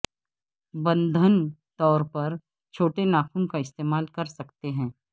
بندھن طور پر چھوٹے ناخن کا استعمال کر سکتے ہیں